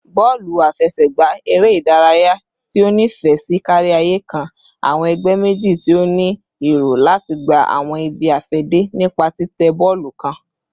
Bọọlu afẹsẹgba, ere idaraya ti o nifẹ si kariaye, kan awọn ẹgbẹ meji ti o ni ero lati gba awọn ibi-afẹde nipa titẹ bọọlu kan